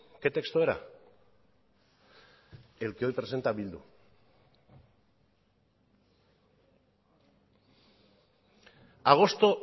que texto era el que hoy presenta bildu agosto